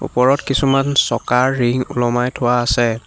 ওপৰত কিছুমান চকাৰ ৰিং ওলমাই থোৱা আছে।